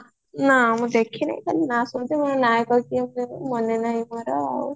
ନାଁ ମୁଁ ଦେଖିନି ଖାଲି ନାଁ ମାନେ ନାହି ମୋର ଆଉ